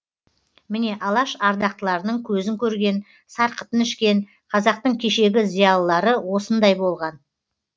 міне алаш ардақтыларының көзін көрген сарқытын ішкен қазақтың кешегі зиялылары осындай болған